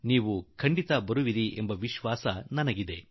ನೀವು ಖಂಡಿತ ಇದರಲ್ಲಿ ಕೂಡಿಕೊಳ್ಳುವಿರಿ ಎಂಬ ವಿಶ್ವಾಸ ನನ್ನದು